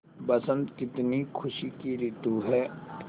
बसंत कितनी खुशी की रितु है